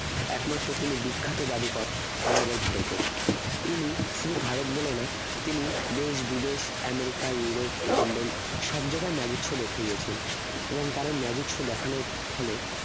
একমাত্র তিনি বিখ্যাত জাদুকর আমাদের ভারতের তিনি শুধু ভারত বলে না তিনি দেশ বিদেশ আমেরিকা ইউরোপ লন্ডন সব জায়গায় magic show দেখিয়েছেন এবং তার এই magic show দেখানোর ফলে